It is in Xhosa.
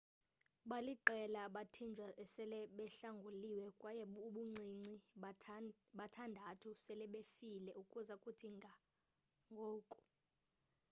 baliqela abathinjwa esele behlanguliwe kwaye ubuncinci bathandathu selebefile ukuza kuthi ga ngoku